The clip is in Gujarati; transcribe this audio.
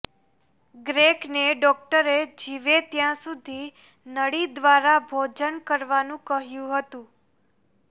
ગ્રેકને ડોક્ટરે જીવે ત્યાં સુધી નળી દ્વારા ભોજન કરવાનું કહ્યું હતું